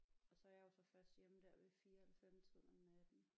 Og så er jeg jo så først hjemme der ved 4 halv 5 tiden om natten